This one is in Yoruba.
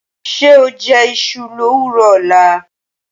Ṣé oó jẹ́ iṣu lówùrọ ọ̀la?